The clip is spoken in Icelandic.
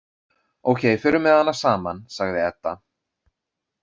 Ókei, förum með hana saman, sagði Edda.